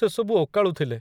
ସେସବୁ ଓକାଳୁଥିଲେ।